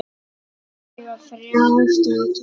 Ég á þrjár dætur.